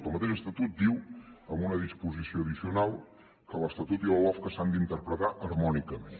el mateix estatut diu en una disposició addicional que l’estatut i la lofca s’han d’interpretar harmònicament